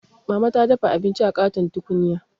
Mama ta dafa abinci a ƙaton tukunya.